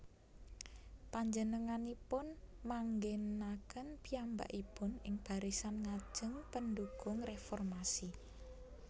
Panjenenganipun manggènaken piyambakipun ing barisan ngajeng pendhukung réformasi